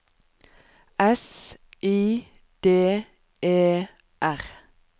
S I D E R